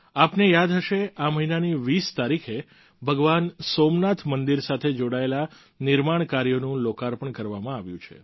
આપને યાદ હશે આ મહિનાની 20 તારીખે ભગવાન સોમનાથ મંદિર સાથે જોડાયેલા નિર્માણ કાર્યોનું લોકાર્પણ કરવામાં આવ્યું છે